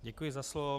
Děkuji za slovo.